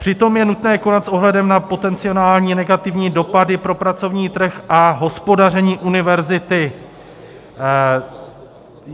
Přitom je nutné konat s ohledem na potenciální negativní dopady pro pracovní trh a hospodaření univerzity.